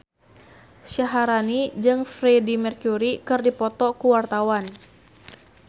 Syaharani jeung Freedie Mercury keur dipoto ku wartawan